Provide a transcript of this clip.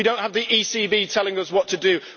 We do not have the ECB telling us what to do.